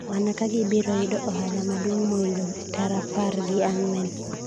mana ka gibiro yudi ohala maduong' moingo tara apar gi ang'wen